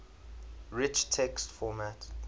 rich text format